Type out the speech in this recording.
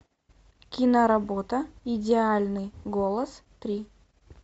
киноработа идеальный голос три